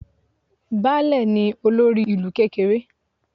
Baálẹ̀ ni olórí ìlú kékeré